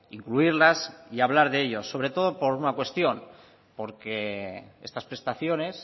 incluirlas y hablar de ello sobre todo por una cuestión porque estas prestaciones